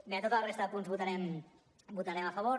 bé a tota la resta de punts hi votarem a favor